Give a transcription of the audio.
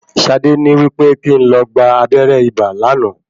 Ṣadé ní wípé kín n lo gba abẹrẹ ibà lánàá.